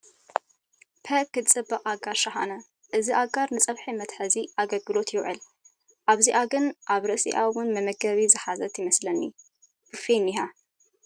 ፐእ ክትፅብቕ ኣጋር ሸሓነ እዚ ኣጋር ንፀብሒ መትሓዚ ኣገልግሎት ይውዕል ፣ እዚኣ ግን ኣብ ርእሲኣ እውን መግቢ ዝሓዘት ይመስለኒ ቡፌ እኒሃ ።